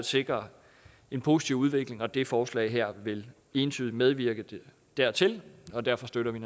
sikre en positiv udvikling og det forslag her vil entydigt medvirke dertil derfor støtter vi